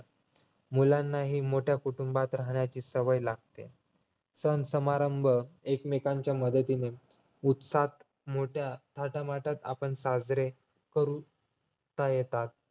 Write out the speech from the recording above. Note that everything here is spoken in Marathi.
मुलांनाही मोठ्या कुटुंबात राहण्याची सवय लागते सण समारंभ एकमेकांच्या मदतीने उत्साहात मोठा थाटामाटात आपण साजरे करू करता येतात